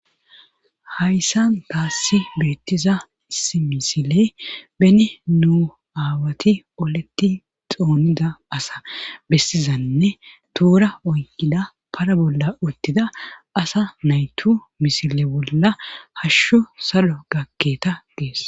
Hayssan kaassi beettiza isi misile beni nuu aawati oleti xoonida asa bessizanne tuura oykida para bolla uttida asa naytu misile bolla hashsho salo gakketa gees.